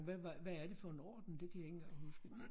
Hvad var hvad er det for en orden det kan jeg ikke engang huske